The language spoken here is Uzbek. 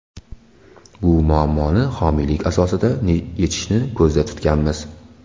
Bu muammoni homiylik asosida yechishni ko‘zda tutganmiz.